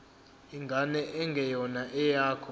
ingane engeyona eyakho